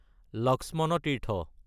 Lakshman Tirtha